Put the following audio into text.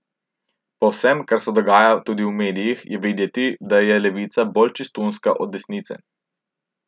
Po vsem, kar se dogaja tudi v medijih, je videti, da je levica bolj čistunska od desnice.